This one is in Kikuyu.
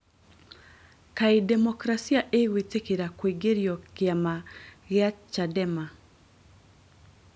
Kaĩ demokrasia ĩgwĩtĩkĩra kuingĩrio kĩama gĩa Chadema